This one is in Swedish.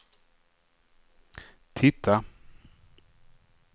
titta